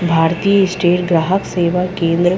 भारतीय स्टेट ग्राहक सेवा केंद्र --